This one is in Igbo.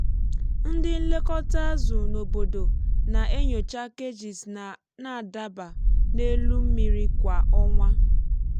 ndị nlekọta azụ n’obodo na-enyocha cages na-adaba n’elu mmiri kwa ọnwa.